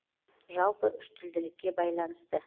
жалпы үштілділікке байланысты